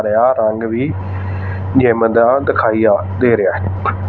ਤੇ ਆ ਰੰਗ ਵੀ ਜਿੱਮ ਦਾ ਦਿਖਾਇਆ ਦੇ ਰਿਹਾ ਹੈ।